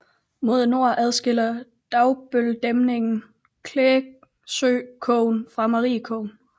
Mod nord afskiller Dagebøldæmningen Klægsøkogen fra Mariekogen